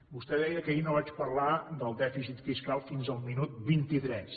vostè deia que ahir no vaig parlar del dèficit fiscal fins al minut vint itres